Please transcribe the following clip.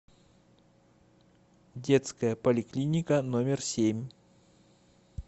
детская поликлиника номер семь